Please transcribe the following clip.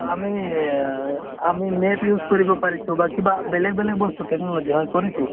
আমি আ আমি map use কৰিব পাৰিছো বা কিবা বেলেগ বেলেগ বস্তু technology হয় কৰিছো